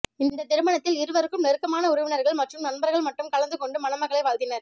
இந்த திருமணத்தில் இருவருக்கும் நெருக்கமான உறவினர்கள் மற்றும் நண்பர்கள் மட்டும் கலந்து கொண்டு மணமக்களை வாழ்த்தினர்